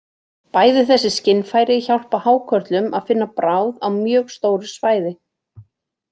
Bæði þessi skynfæri hjálpa hákörlum að finna bráð á mjög stóru svæði.